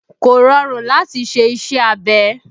Kò rọrùn láti ṣe iṣẹ́ abẹ